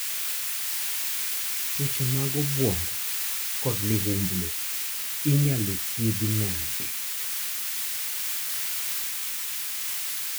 tuoche mag obuongo kod liumblu inya; lo thiedhi nade?